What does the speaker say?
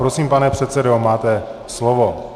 Prosím, pane předsedo, máte slovo.